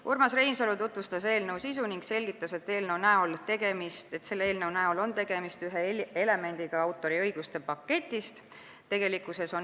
Urmas Reinsalu tutvustas eelnõu sisu ning selgitas, et see eelnõu on üks autoriõiguste paketi elemente.